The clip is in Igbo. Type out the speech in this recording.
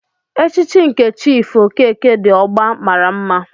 Echichi nke Chief okeke di ogba maara mma.